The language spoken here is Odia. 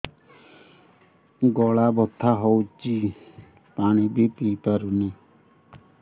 ଗଳା ବଥା ହଉଚି ପାଣି ବି ପିଇ ପାରୁନି